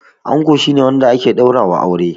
Ango shi ne wanda ake ɗaura wa aure